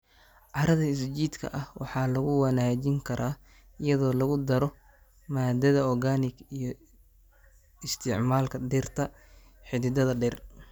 Carrada is-jiidka ah waxaa lagu wanaajin karaa iyadoo lagu daro maadada organic iyo isticmaalka dhirta xididdada dheer.